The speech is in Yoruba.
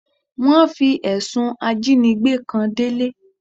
Wọ́n fi ẹ̀sùn ajínigbé kan Délé.